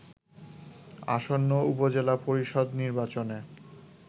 আসন্ন উপজেলা পরিষদ নির্বাচনে